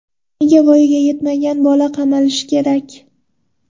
Nega voyaga yetmagan bola qamalishi kerak?